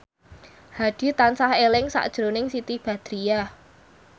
Hadi tansah eling sakjroning Siti Badriah